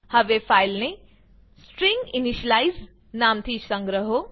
હવે ફાઈલને સ્ટ્રિંગિનિશિયલાઇઝ નામથી સંગ્રહો